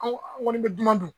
An ko an kɔni bɛ dunan dun